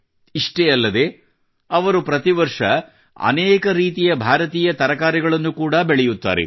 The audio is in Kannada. ಇಷ್ಟೇ ಅಲ್ಲದೇ ಅವರು ಪ್ರತಿ ವರ್ಷ ಅನೇಕ ರೀತಿಯ ಭಾರತೀಯ ತರಕಾರಿಗಳನ್ನು ಕೂಡಾ ಬೆಳೆಯುತ್ತಾರೆ